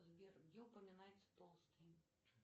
сбер где упоминается толстый